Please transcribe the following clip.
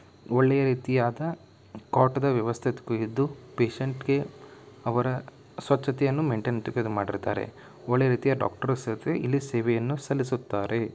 ಒಳ್ಳೆಯ ರೀತಿಯಾದ ಕಾಟ್ ದ ವ್ಯವಸ್ಥೆ ಒದಗಿದ್ದು ಪೇಷಂಟ್ಗೆ ಅವರ ಸ್ವಚ್ಛತೆಯ ಮೆಂಟೇನೆಂಟ್ ಮಾಡಿರುತ್ತಾರೆ ಒಳ್ಳೆಯ ರೀತಿಯ ಡಾಕ್ಟರ್ ಸೆಪಿ ಇಲ್ಲಿ ಸೇವೆಯನ್ನು ಸಲ್ಲಿಸುತ್ತಾರೆ.